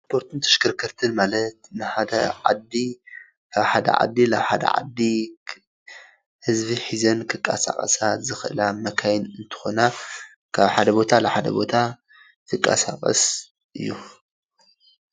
ትራንስፖርትን ተሽከርከርትን ማለት ካብ ሓደ ዓዲ ናብ ሓደ ዓዲ ህዝቢ ሒዘን ክንቀሳቀሳ ዝክእላ መካይን እንትኮና ካብ ሓደ ቦታ ወይ ናብ ሓደ ቦታ ዝንቀሳቀስ እዩ፡፡